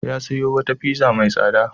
Ya sayo wata pizza mai tsada.